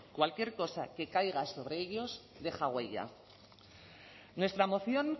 cualquier cosa que caiga sobre ellos deja huella nuestra moción